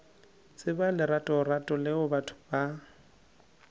tseba leratorato leo batho ba